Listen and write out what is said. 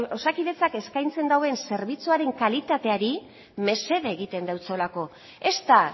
osakidetzak eskaintzen duen zerbitzuaren kalitateari mesede egiten deutsolako ez da